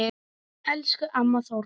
Elsku amma Þóra.